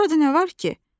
burada nə var ki?